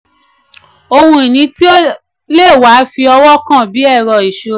ohun ìní tí o le wa fi ọwọ́ kàn bí ẹrọ iṣura.